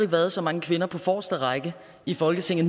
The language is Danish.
været så mange kvinder på forreste række i folketinget